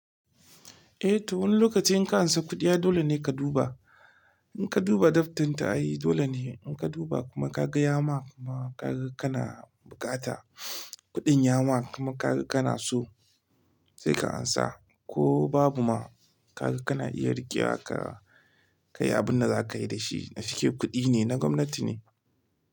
Eh, to wani lokaci in ka ansa kuɗi, ai dole ne ka duba. In ka duba daftarin ta'a yi dole ne, in ka duba kuma ka ga yama kuma ka ga kana bukata kuɗin yama kuma ka ga kana so sai ka ansa. Ko babu ma ka ga kana iya riƙewa ka kai abin da za ka yi da shi. Fike kuɗi ne na gwamnati ne.